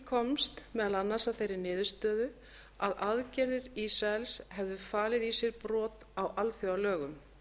komst meðal annars að þeirri niðurstöðu að aðgerðir ísraels hefðu falið í sér brot á alþjóðalögum